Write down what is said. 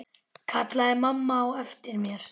kallaði mamma á eftir mér.